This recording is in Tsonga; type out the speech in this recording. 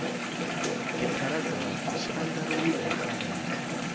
tipharagirafu swi andlariwile hi mfanelo